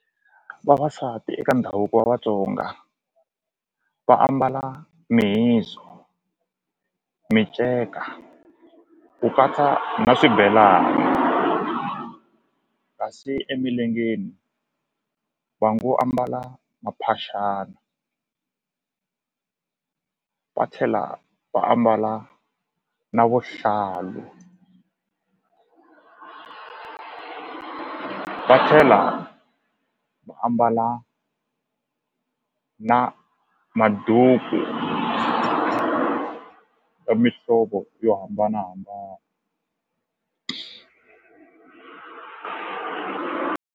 Vavasati eka ndhavuko wa Vatsonga va ambala mihizu miceka ku katsa na swibelana kasi emilengeni va ngo ambala maphaxani va tlhela va ambala na vuhlalu va tlhela va ambala na maduku mihlovo yo hambanahambana.